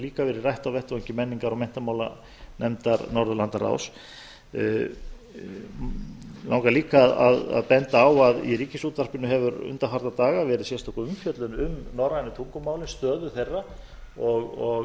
líka verið rætt á menningar og menntamálanefndar norðurlandaráðs mig langar líka að benda á að í ríkisútvarpinu hefur undanfarna daga verið sérstök umfjöllun um norrænu tungumálin stöðu þeirra og